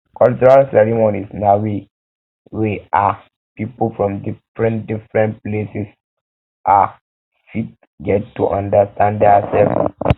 cultural ceremonies na way wey um pipo from different pipo from different places um fit get to understand their self